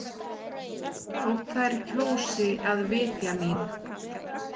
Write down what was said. Þótt þær kjósi að vitja mín.